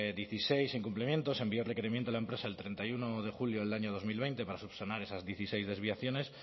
dieciséis incumplimientos se envió requerimiento a la empresa el treinta y uno de julio del año dos mil veinte para subsanar esas dieciséis desviaciones